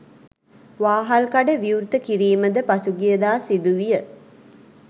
වාහල්කඩ විවෘත කිරීමද පසුගියදා සිදුවිය.